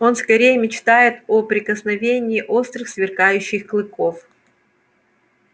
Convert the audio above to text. он скорее мечтает о прикосновении острых сверкающих клыков